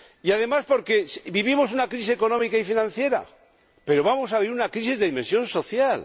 Además, porque vivimos una crisis económica y financiera, pero vamos a vivir una crisis de dimensión social